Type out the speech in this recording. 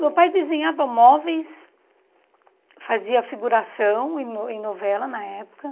Meu pai desenhava móveis, fazia figuração em no em novela na época.